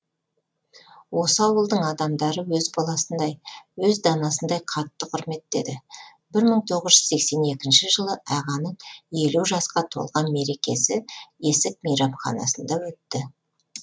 осы ауылдың адамдары өз баласындай өз данасындай қатты құрметтеді бір мың тоғыз жүз сексен екінші жылы ағаның елу жасқа толған мерекесі есік мейрамханасында өтті